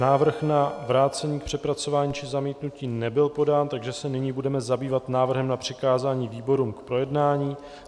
Návrh na vrácení k přepracování či zamítnutí nebyl podán, takže se nyní budeme zabývat návrhem na přikázání výborům k projednání.